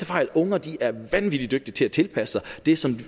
fejl unger er vanvittig dygtige til at tilpasse sig det som